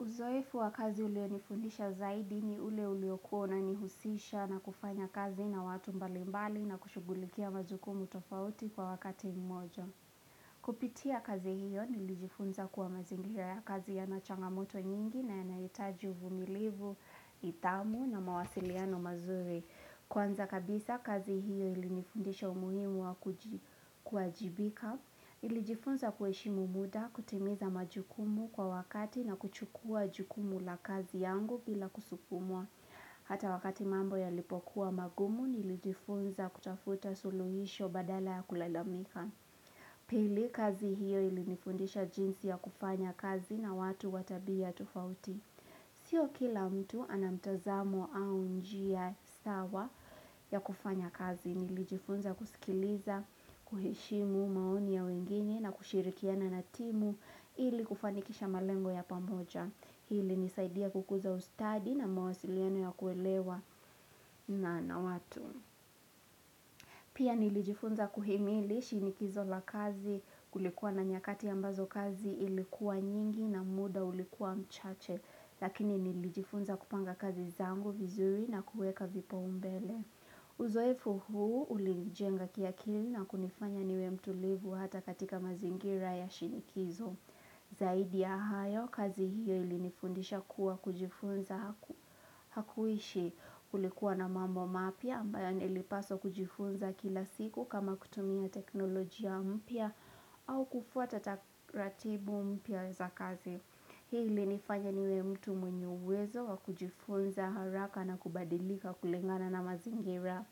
Uzoefu wa kazi ulionifundisha zaidi ni ule ulionifundisha zaidi ni ule ulionifundisha na nihusisha na kufanya kazi na watu mbalimbali na kushugulikia mazukumu tofauti kwa wakati mmojo. Kupitia kazi hiyo nilijifunza kuwa mazingia ya kazi ya nachangamoto nyingi na yanaitaji uvumilivu, itamu na mawasiliano mazure. Kwanza kabisa kazi hiyo ilinifundisha umuhimu wa kujibika. Ilijifunza kuhishimu muda kutimiza majukumu kwa wakati na kuchukua jukumu la kazi yangu bila kusufumua. Hata wakati mambo ya lipokuwa magumu nilijifunza kutafuta suluhisho badala ya kulalamika. Pili kazi hiyo ilinifundisha jinsi ya kufanya kazi na watu watabia tufauti. Sio kila mtu anamtozamo au njia sawa ya kufanya kazi, nilijifunza kusikiliza, kuhishimu maoni ya wengine na kushirikiana na timu ili kufanikisha malengo ya pamoja, hili nisaidia kukuza ustadi na mawasiliano ya kuelewa na na watu. Pia nilijifunza kuhimili shinikizo la kazi kulikuwa na nyakati ambazo kazi ilikuwa nyingi na muda ulikuwa mchache, lakini nilijifunza kupanga kazi zango vizuri na kueka vipo umbele. Uzoefu huu ulinijenga kia kilina kunifanya niwe mtu livu hata katika mazingira ya shinikizo. Zaidi ya hayo, kazi hiyo ilinifundisha kuwa kujifunza hakuishi kulikuwa na mambo mapia ambayo ilipaso kujifunza kila siku kama kutumia teknolojia mpia au kufuata tataratibu mpia za kazi. Hii ili nifanya niwe mtu mwenye uwezo wa kujifonza haraka na kubadilika kulengana na mazingira.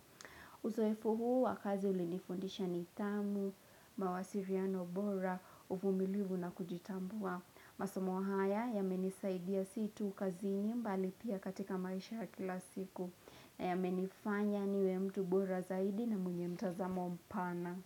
Uzoefu huu wakazi ili nifondisha nitamu, mawasiriano bora, uvumilivu na kujitambua. Masomo haya ya menisaidia situ ukazini mbali pia katika maisha kila siku. Na ya menifanya niwe mtu bora zaidi na mwenye mtazamo mpana.